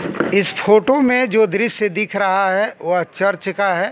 इस फोटो में जो दृश्य दिख रहा है वह चर्च का है।